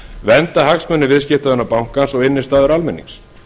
vernda hagsmuni viðskiptavina bankans og innistæður almennings